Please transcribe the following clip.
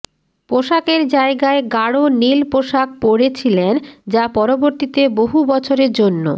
পোশাকের জায়গায় গাড় নীল পোশাক পড়েছিলেন যা পরবর্তীতে বহু বছরের জন্য